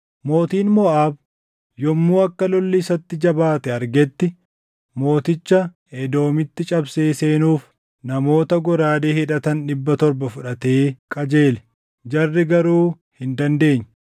Mootiin Moʼaab yommuu akka lolli isatti jabaate argetti mooticha Edoomitti cabsee seenuuf namoota goraadee hidhatan dhibba torba fudhatee qajeele; jarri garuu hin dandeenye.